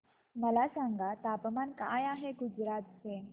मला सांगा तापमान काय आहे गुजरात चे